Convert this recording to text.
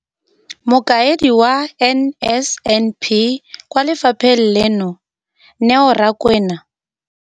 Mokaedi wa NSNP kwa lefapheng leno, Neo Rakwena,